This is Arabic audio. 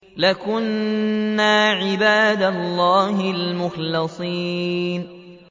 لَكُنَّا عِبَادَ اللَّهِ الْمُخْلَصِينَ